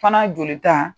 Fana jolita